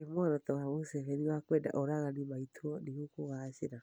ĩ muoroto wa Museveni wa kwenda oragani maitwo nĩ ũkũgacĩra?